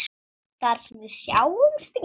Þar sem við sjáumst ekki.